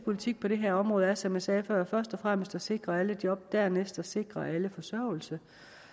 politik på det her område er som jeg sagde før først og fremmest at sikre alle job og dernæst at sikre alle forsørgelse